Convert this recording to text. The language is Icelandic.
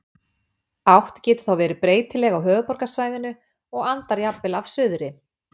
Átt getur þá verið breytileg á höfuðborgarsvæðinu og andar jafnvel af suðri.